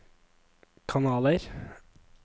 kanaler